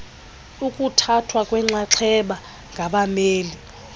ukuthathwa kwenxaxheba ngabameli